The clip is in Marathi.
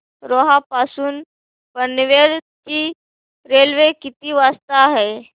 रोहा पासून पनवेल ची रेल्वे किती वाजता आहे